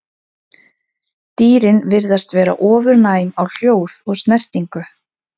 Dýrin virðast vera ofurnæm á hljóð og snertingu.